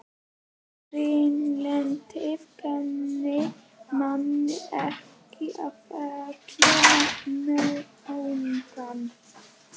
Hreinlyndið kennir manni ekki að þekkja náungann.